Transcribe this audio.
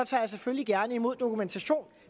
tager jeg selvfølgelig gerne imod dokumentation